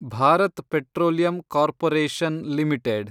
Bharat petroleum corporation limited